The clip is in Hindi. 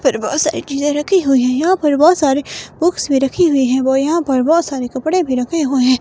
पर बहुत सारी चीजें रखी हुई हैयहाँ पर बहुत सारे बुक्स भी रखी हुई है वो यहाँ पर बहुत सारे कपड़े भी रखे हुए हैं।